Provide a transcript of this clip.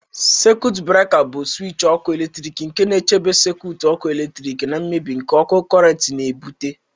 Sekit breka bụ swịtch ọkụ eletrik nke na-echebe sekit ọkụ eletrik na mmebi nke ókè cọrent na- ebụte